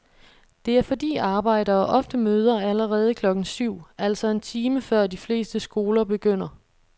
Det er fordi arbejdere ofte møder allerede klokken syv, altså en time før de fleste skoler begynder.